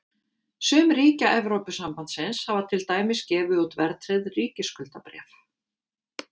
sum ríkja evrópusambandsins hafa til dæmis gefið út verðtryggð ríkisskuldabréf